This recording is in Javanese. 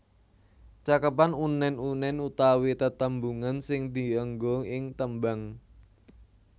Cakepan unèn unèn utawi tetembungan sing dienggo ing tembang